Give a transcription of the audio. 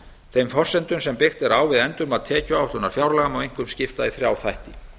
þeim forsendum sem byggt er á við endurmat tekjuáætlunar fjárlaga má einkum skipta í þrjá þætti